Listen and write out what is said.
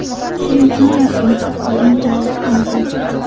Kimsan o‘zi?” degan javob oldi.